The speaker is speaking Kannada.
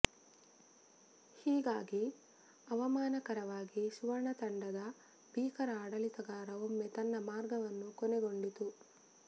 ಹೀಗಾಗಿ ಅವಮಾನಕರವಾಗಿ ಸುವರ್ಣ ತಂಡದ ಭೀಕರ ಆಡಳಿತಗಾರ ಒಮ್ಮೆ ತನ್ನ ಮಾರ್ಗವನ್ನು ಕೊನೆಗೊಂಡಿತು